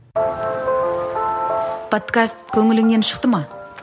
подкаст көңіліңнен шықты ма